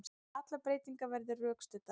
Allar breytingar verði rökstuddar